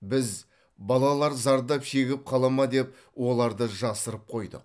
біз балалар зардап шегіп қала ма деп оларды жасырып қойдық